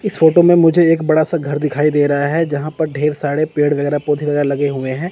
इस फोटो में मुझे एक बड़ा सा घर दिखाई दे रहा है जहां पर पर ढेर सारे पेड़ वगैरा पौधा वगैरा लगे हुए हैं।